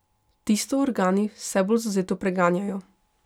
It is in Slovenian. Tisto organi vse bolj zavzeto preganjajo.